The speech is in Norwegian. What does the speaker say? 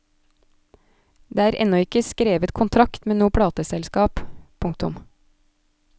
Det er ennå ikke skrevet kontrakt med noe plateselskap. punktum